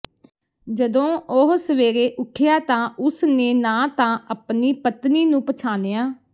ਜਦੋਂ ਉਹ ਸਵੇਰੇ ਉੱਠਿਆ ਤਾਂ ਉਸ ਨੇ ਨਾ ਤਾਂ ਅਪਣੀ ਪਤਨੀ ਨੂੰ ਪਛਾਣਿਆ